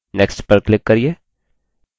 next पर click करिये